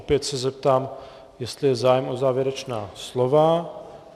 Opět se zeptám, jestli je zájem o závěrečná slova.